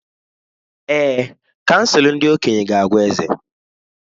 Èè, Kansụl ndị okenye ga-agwa eze.